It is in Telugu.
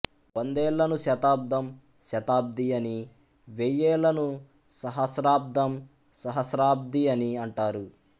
వందేళ్ళను శతాబ్దము శతాబ్ది అని వెయ్యేళ్ళను సహస్రాబ్దం సహస్రాబ్ది అనీ అంటారు